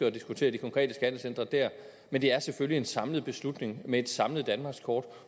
at diskutere de konkrete skattecentre der men det er selvfølgelig en samlet beslutning med et samlet danmarkskort